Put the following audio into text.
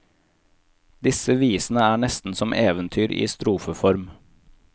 Disse visene er nesten som eventyr i strofeform.